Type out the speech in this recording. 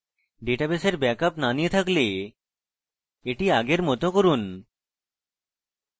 ডাটাবেসের ব্যাক বা নিয়ে থাকলে এটি আগের মত করুন